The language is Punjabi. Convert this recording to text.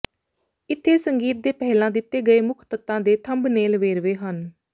ਇੱਥੇ ਸੰਗੀਤ ਦੇ ਪਹਿਲਾਂ ਦਿੱਤੇ ਗਏ ਮੁੱਖ ਤੱਤਾਂ ਦੇ ਥੰਬਨੇਲ ਵੇਰਵੇ ਹਨ